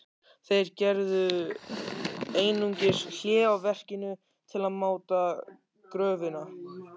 Þeir gerðu einungis hlé á verkinu til að máta gröfina.